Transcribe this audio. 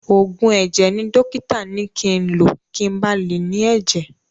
Òògùn ẹ̀jẹ̀ ni dọ́kítà ni ki ń lo kin ba lè ní ẹ̀jẹ̀.